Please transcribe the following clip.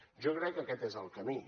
jo crec que aquest és el camí